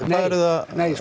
nei